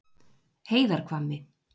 Heiðarhvammi